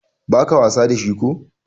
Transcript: ba ka wasa da shi ko?